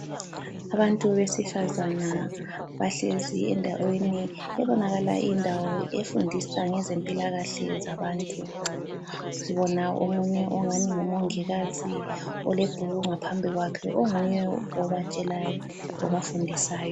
Abantu besifazana bahlezi endaweni ebonakala iyindawo efundisa ngezempilakahle zabantu. Sibona omunye ongani ngumongikazi olebhuku ngaphambi kwakhe onguye obatshelayo obafundisayo.